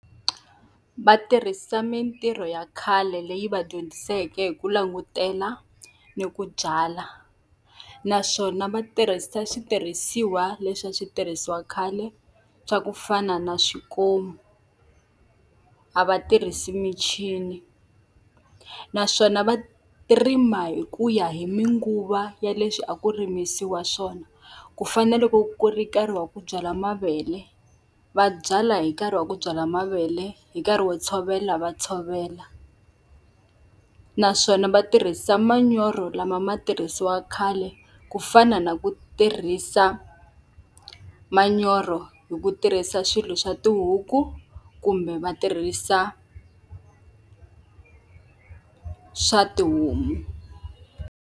Va tirhisa mintirho ya khale leyi va dyondziseke hi ku langutela, ni ku byala. Naswona va tirhisa switirhisiwa leswi a switirhisiwa khale swa ku fana na swikomu, a va tirhisi michini. Naswona va rima hi ku ya hi tinguva ya leswi a ku rimisiwa swona. Ku fana na loko ku ri nkarhi wa ku byala mavele, va byala hi nkarhi wa ku byala mavele hi nkarhi wo tshovela va tshovela. Naswona va tirhisa manyoro lama a ma tirhisiwa khale ku fana na ku tirhisa manyoro hi ku tirhisa swilo swa tihuku kumbe va tirhisa swa tihomu.